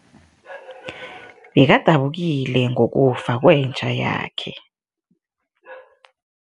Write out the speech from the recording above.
Bekadabukile ngokufa kwenja yakhe.